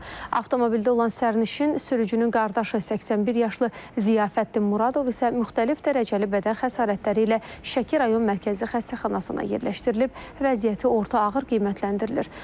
Avtomobildə olan sərnişin, sürücünün qardaşı 81 yaşlı Ziyafəddin Muradov isə müxtəlif dərəcəli bədən xəsarətləri ilə Şəki rayon Mərkəzi Xəstəxanasına yerləşdirilib, vəziyyəti orta ağır qiymətləndirilir.